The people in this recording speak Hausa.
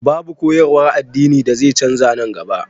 Babu koyarwar addini da zai canza nan gaba